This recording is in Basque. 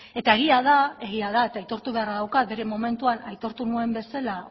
eta egia da egia da eta aitortu beharra daukat bere momentuan aitortu nuen bezala